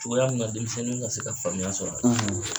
Cogoya minna denmisɛnninw ka se ka faamuya sɔr'a la.